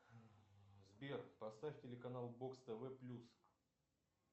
сбер поставь телеканал бокс тв плюс